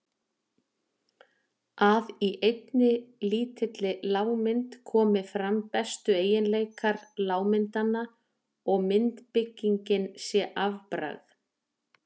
að í einni lítilli lágmynd komi fram bestu eiginleikar lágmyndanna og myndbyggingin sé afbragð.